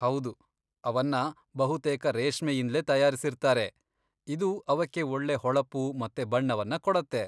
ಹೌದು, ಅವನ್ನ ಬಹುತೇಕ ರೇಷ್ಮೆಯಿಂದ್ಲೇ ತಯಾರಿಸಿರ್ತಾರೆ, ಇದು ಅವಕ್ಕೆ ಒಳ್ಳೆ ಹೊಳಪು ಮತ್ತೆ ಬಣ್ಣವನ್ನ ಕೊಡತ್ತೆ.